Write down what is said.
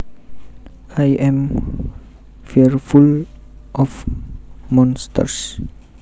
I am fearful of monsters